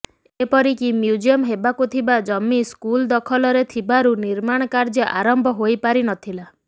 ଏପରିକି ମ୍ୟୁଜିୟମ ହେବାକୁ ଥିବା ଜମି ସ୍କୁଲ ଦଖଲରେ ଥିବାରୁ ନିର୍ମାଣ କାର୍ଯ୍ୟ ଆରମ୍ଭ ହୋଇପାରିନଥିଲା